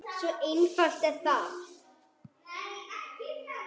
Svo einfalt er það!